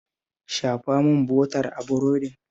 Shafa min bota a burodin